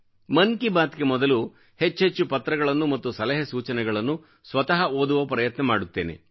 ಮನ್ ಕಿ ಬಾತ್ ಗೆ ಮೊದಲು ಹೆಚ್ಚೆಚ್ಚು ಪತ್ರಗಳನ್ನು ಮತ್ತು ಸಲಹೆ ಸೂಚನೆಗಳನ್ನು ಸ್ವತಃ ಓದುವ ಪ್ರಯತ್ನ ಮಾಡುತ್ತೇನೆ